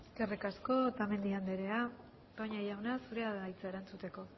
eskerrik asko otamendi anderea toña jauna zurea da hitza erantzuteko